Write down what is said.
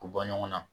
K'u bɔ ɲɔgɔn na